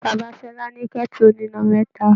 Bàbá Ṣọlá ní kẹ́tù oníná mẹ́ta.